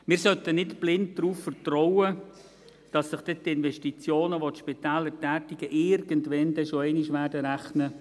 Wir sollten nicht blind darauf vertrauen, dass sich die Investitionen, welche die Spitäler tätigen, dann irgendwann schon einmal rechnen werden.